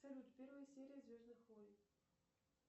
салют первая серия звездных войн